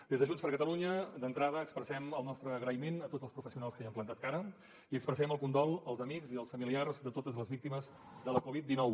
des de junts per catalunya d’entrada expressem el nostre agraïment a tots els professionals que hi han plantat cara i expressem el condol als amics i als familiars de totes les víctimes de la covid dinou